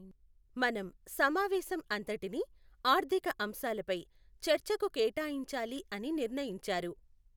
మనం సమావేశం అంతటిని ఆర్థిక అంశాలపై చర్చకు కేటాయించాలి అని నిర్ణయించారు.